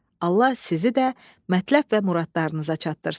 Allah sizi də mətləb və muradlarınıza çatdırsın.